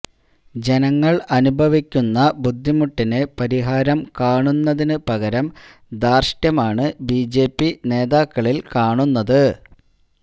ജനങ്ങള് അനുഭവിക്കുന്ന ബുദ്ധിമുട്ടിന് പരിഹാരം കാണുന്നതിന് പകരം ധാര്ഷ്ട്യമാണ് ബിജെപി നേതാക്കളില് കാണുന്നത്